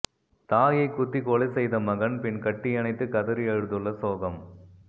தாயை குத்தி கொலை செய்த மகன் பின் கட்டியணைத்து கதறி அழுதுள்ள சோகம்